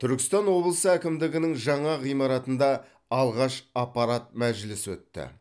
түркістан облысы әкімдігінің жаңа ғимаратында алғаш аппарат мәжілісі өтті